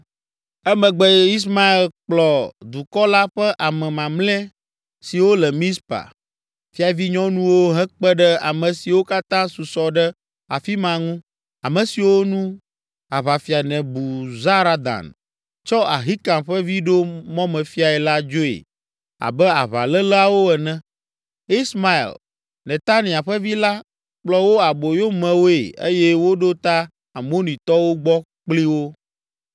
Emegbe Ismael kplɔ dukɔ la ƒe ame mamlɛ siwo le Mizpa, fiavinyɔnuwo hekpe ɖe ame siwo katã susɔ ɖe afi ma ŋu, ame siwo nu aʋafia Nebuzaradan tsɔ Ahikam ƒe vi ɖo mɔmefiae la dzoe abe aʋaléleawo ene. Ismael, Netania ƒe vi la, kplɔ wo aboyomewoe eye wòɖo ta Amonitɔwo gbɔ kpli wo.